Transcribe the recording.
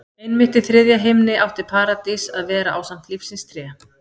Einmitt í þriðja himni átti Paradís að vera ásamt lífsins tré.